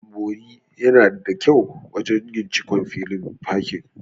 Ɓanɓori yana da kyau wajen yin cikon filin fakin.